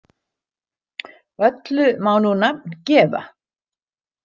Öllu má nú nafn gefa.